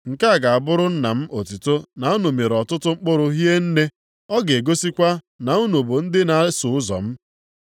Nke a ga-abụrụ Nna m otuto na unu mịrị ọtụtụ mkpụrụ hie nne, ọ na-egosikwa na unu bụ ndị na-eso ụzọ m.